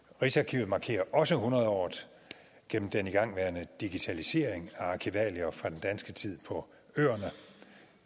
rigsarkivet markerer også hundredåret gennem den igangværende digitalisering af arkivalier fra den danske tid på øerne